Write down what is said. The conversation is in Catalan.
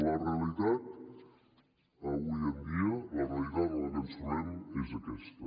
la realitat avui en dia la realitat amb la que ens trobem és aquesta